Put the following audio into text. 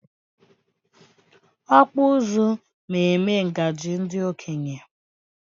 Okpu ụzụ ma eme ngaji ndị okenye